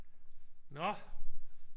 Nå